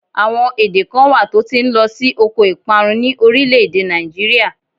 Àwọn èdè kan wà tó ti ń lọ sí oko ìparun ni orílé-èdè Nigeria